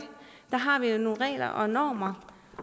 har vi nogle regler og normer